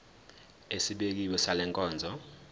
esibekiwe sale nkonzo